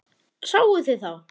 Sáuð þið þá?